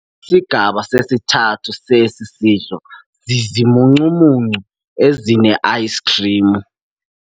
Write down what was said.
Isigaba sesithathu sesi sidlo zizimuncumuncu ezineayisikhrimu.